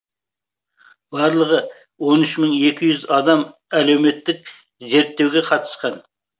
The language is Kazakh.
барлығы он үш мың екі жүз адам әлеуметтік зерттеуге қатысқан